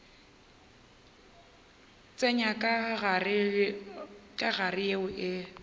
tsenya ka gare yeo e